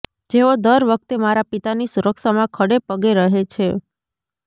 જેઓ દર વખતે મારા પિતાની સુરક્ષામાં ખડેપગે રહે છે